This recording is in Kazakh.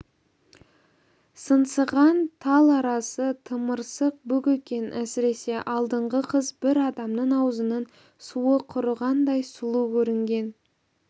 сыңсыған тал арасы тымырсық бүк екен әсіресе алдыңғы қыз бір адамның аузының суы құрығандай сұлу көрінген